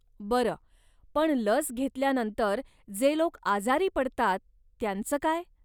बरं, पण लस घेतल्यानंतर जे लोक आजारी पडतात त्यांच काय?